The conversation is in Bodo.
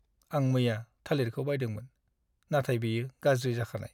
आं मैया थालिरखौ बायदोंमोन, नाथाय बेयो गाज्रि जाखानाय।